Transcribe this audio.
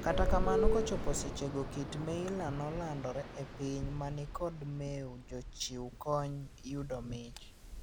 kata kamano kochopo sechego kit Meyler nolandore epiny manikod meo jochiu kony yudo mich.